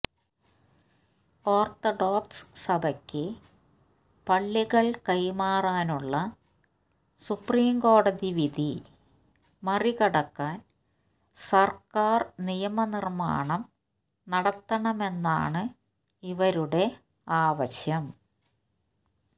orthodox സഭയ്ക്ക് പള്ളികൾ കൈമാറാനുള്ള സുപ്രീംകോടതി വിധി മറികടക്കാൻ സർക്കാർ നിയമനിർമാണം നടത്തണമെന്നാണ് ഇവരുടെ ആവശ്യം